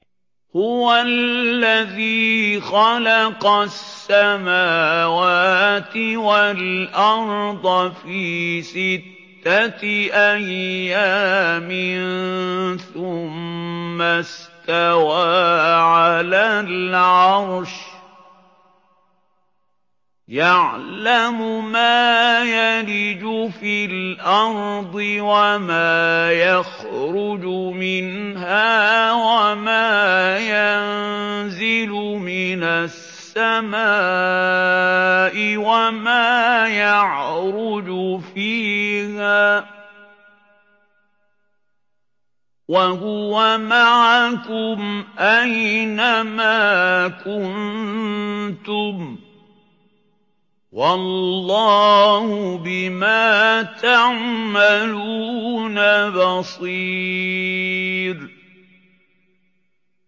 هُوَ الَّذِي خَلَقَ السَّمَاوَاتِ وَالْأَرْضَ فِي سِتَّةِ أَيَّامٍ ثُمَّ اسْتَوَىٰ عَلَى الْعَرْشِ ۚ يَعْلَمُ مَا يَلِجُ فِي الْأَرْضِ وَمَا يَخْرُجُ مِنْهَا وَمَا يَنزِلُ مِنَ السَّمَاءِ وَمَا يَعْرُجُ فِيهَا ۖ وَهُوَ مَعَكُمْ أَيْنَ مَا كُنتُمْ ۚ وَاللَّهُ بِمَا تَعْمَلُونَ بَصِيرٌ